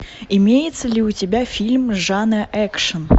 имеется ли у тебя фильм жанра экшн